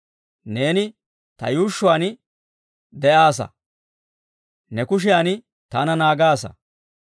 Neeni ta yuushshuwaan de'aassa; ne kushiyan taana naagaasa.